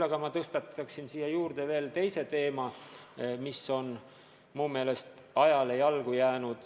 Tõstataksin siia juurde aga veel teise teema, mis on mu meelest ajale jalgu jäänud.